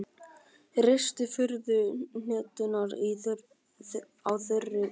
Ristið furuhneturnar á þurri pönnu.